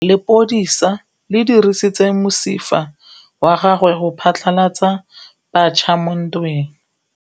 Lepodisa le dirisitse mosifa wa gagwe go phatlalatsa batšha mo ntweng.